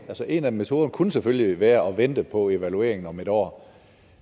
en af metoderne kunne selvfølgelig være at vente på evalueringen om en år